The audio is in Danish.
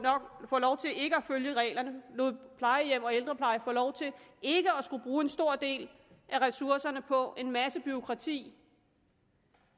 følge reglerne lod plejehjem og ældrepleje få lov til ikke at skulle bruge en stor del af ressourcerne på en masse bureaukrati